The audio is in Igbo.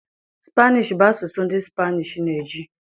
Spanish bụ asụsụ ndị Spanish na-eji.